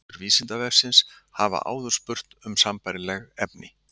Lesendur Vísindavefsins hafa áður spurt um sambærileg efni.